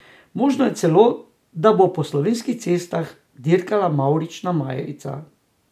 Možno je celo, da bo po slovenskih cestah dirkala mavrična majica.